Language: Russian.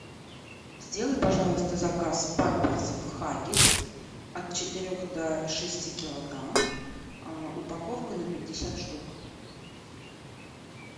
сделай пожалуйста заказ памперсов хаггис от четырех до шести килограмм упаковка на пятьдесят штук